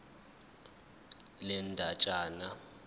le ndatshana ngamaphuzu